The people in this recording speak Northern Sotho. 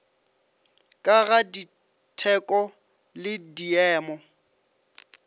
ka ga ditheko le diemo